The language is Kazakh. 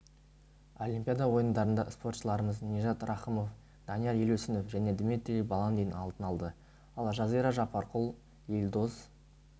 олимпиада ойындарында спортшыларымыз нижат рахымов данияр елеусінов және дмитрий баландин алтын алды ал жазира жаппарқұл елдос